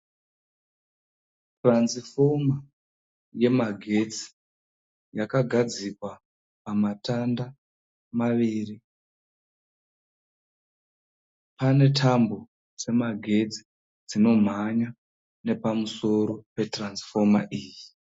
Turanzifoma yemagetsi yakagadzikwa pamatanda maviri. Pane tambo dzemagetsi dzinomhanya nepamusoro peturanzifoma iyi.